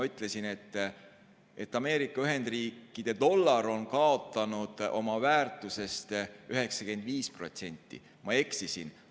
Ütlesin, et Ameerika Ühendriikide dollar on kaotanud oma väärtusest 95%, aga ma eksisin.